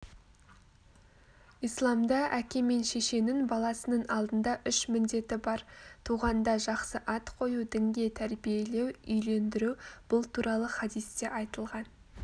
исламда әке мен шешенің баласының алдында үш міндеті бар туғанда жақсы ат қою дінге тәрбиелеу үйлендіру бұл туралы хадисте айтылған